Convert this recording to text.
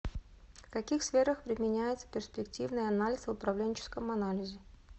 в каких сферах применяется перспективный анализ в управленческом анализе